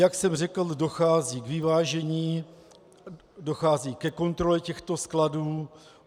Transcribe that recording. Jak jsem řekl, dochází k vyvážení, dochází ke kontrole těchto skladů.